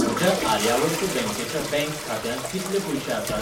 म्हज्या आर्यावर्त बँकेच्या बॅंक खात्यांत कितले पयशे आसात?